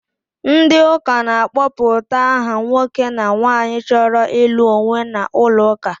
Ndị ụka na-akpọpụta aha nwoke na nwaanyị chọrọ ịlụ onwe n'ụlọ ụka.